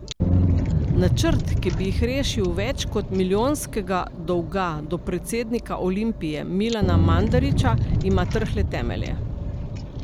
Načrt, ki bi jih rešil več kot milijonskega dolga do predsednika Olimpije Milana Mandarića, ima trhle temelje.